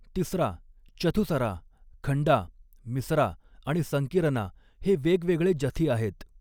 तिसरा, चथुसरा, खंडा, मिसरा आणि संकीरना हे वेगवेगळे जथी आहेत.